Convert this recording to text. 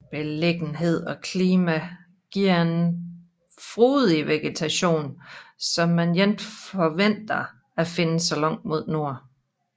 Beliggenheden og klima giver en frodig vegetation som man ikke forventer at finde så langt mod nord